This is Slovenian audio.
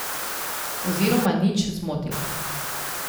Oziroma nič zmotil.